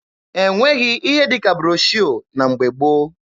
E nweghị ihe dị ka broshuọ na mgbe gboo.